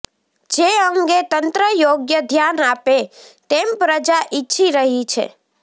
જે અંગે તંત્ર યોગ્ય ધ્યાન આપે તેમ પ્રજા ઈચ્છી રહી છે